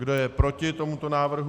Kdo je proti tomuto návrhu?